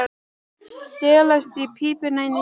Stelast í pípuna inni í skáp.